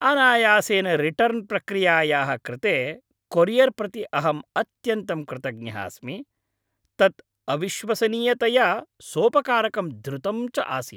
अनायासेन रिटर्न् प्रक्रियायाः कृते कोरियर् प्रति अहम् अत्यन्तं कृतज्ञः अस्मि, तत् अविश्वसनीयतया सोपकारकं द्रुतं च आसीत्।